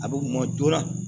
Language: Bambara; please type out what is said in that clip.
A bɛ kuma joona